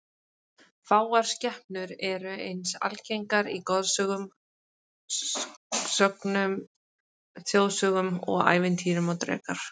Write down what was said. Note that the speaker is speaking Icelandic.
Fáar skepnur eru eins algengar í goðsögum, sögnum, þjóðsögum og ævintýrum og drekar.